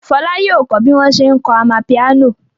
Fọlá yóò kọ́ bí wọ́n ṣe ń kọ amapiano.